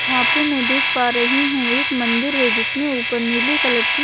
यहाँ पे मैं देख पा रही हूं एक मंदिर है जिसमें ऊपर नीले कलर की--